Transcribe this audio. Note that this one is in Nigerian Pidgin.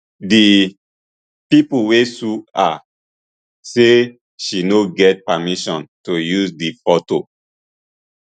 di pipo wey sue her say she no get permission to use di fotos